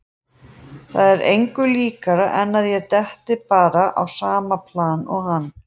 Það er engu líkara en að ég detti bara á sama plan og hann.